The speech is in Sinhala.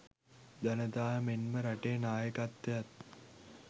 ජනතාව මෙන්ම රටේ නායකත්වයත්